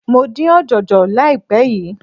Mo dín ọ̀jọ̀jọ̀ láìpé yìí.